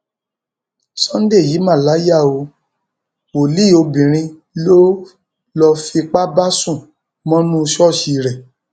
sunday yìí mà láyà o wòlíì obìnrin lọ lọọ fipá bá sùn mọnú ṣọọṣì rẹ